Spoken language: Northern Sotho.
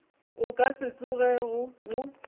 o ka se tsogego o